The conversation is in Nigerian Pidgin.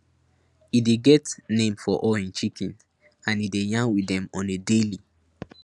e dey get name for all hin chicken and e dey yarn with dem on a daily